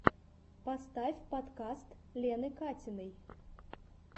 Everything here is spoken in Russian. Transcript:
поставь подкаст лены катиной